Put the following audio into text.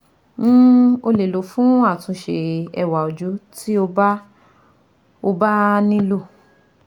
um O le lọ fun atunṣe ẹwa oju ti o ba o ba nilo